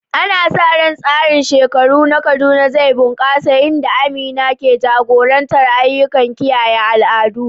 Ana sa ran tsarin shekaru na Kaduna zai bunƙasa, inda Amina ke jagorantar ayyukan kiyaye al'adu.